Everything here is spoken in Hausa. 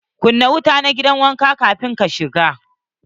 Kunna wuta na gidan wanka kafin ka shiga!